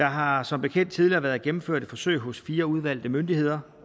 har der som bekendt tidligere været gennemført et forsøg hos fire udvalgte myndigheder